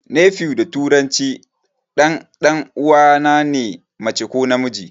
Nephew da turanci ɗan 'yan uwana ne mace ko namiji.